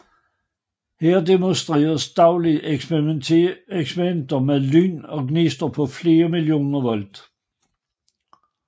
Her demonstreres dagligt eksperimenter med lyn og gnister på flere millioner volt